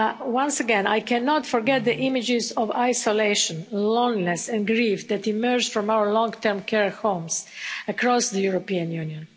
Once again, I cannot forget the images of isolation, loneliness and grief that emerged from our long term care homes across the European Union.